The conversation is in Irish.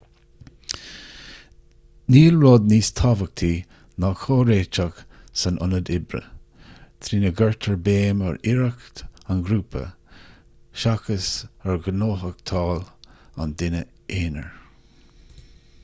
níl rud níos tábhachtaí ná comhréiteach san ionad oibre trína gcuirtear béim ar iarracht an ghrúpa seachas ar ghnóthachtáil an duine aonair